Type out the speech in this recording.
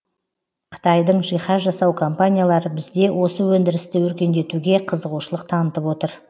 қытайдың жиһаз жасау компаниялары бізде осы өндірісті өркендетуге қызығушылық танытып отыр